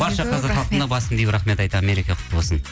барша қазақ халқына басымды иіп рахмет айтамын мереке құтты болсын